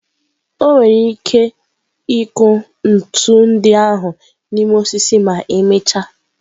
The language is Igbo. O nwere ike ịkụ ntu ndị ahụ n'ime osisi ma emechaa.